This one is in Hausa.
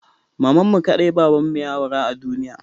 Mamanmu kaɗai babanmu ya aura a duniya.